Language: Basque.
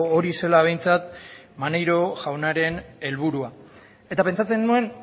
hori zela behintzat maneiro jaunaren helburua eta pentsatzen nuen